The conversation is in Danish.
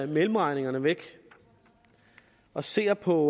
mellemregningerne væk og ser på